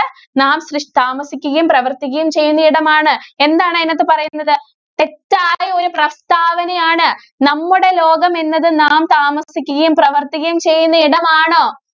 നാം സൃഷ് താമസിക്കുകയും, പ്രവര്‍ത്തിക്കുകയും ചെയ്യുന്ന ഇടമാണ്. എന്താണ് അതിനകത്ത് പറയുന്നത്. തെറ്റായ ഒരു പ്രസ്താവനയാണ്. നമ്മുടെ ലോകം എന്നത് നാം താമസിക്കുകയും, പ്രവര്‍ത്തിക്കുകയും ചെയ്യുന്ന ഇടമാണോ?